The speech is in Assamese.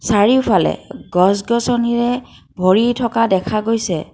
চাৰিওফালে গছ-গছনিৰে ভৰি থকা দেখা গৈছে।